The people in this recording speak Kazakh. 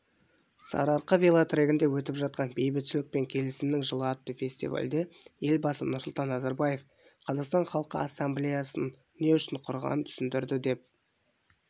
сарыарқа велотрегінде өтіп жатқан бейбітшілік пен келісімнің жылы атты фестивальде елбасы нұрсұлтан назарбаев қазақстан халқы ассамблеясын не үшін құрғанын түсіндірді деп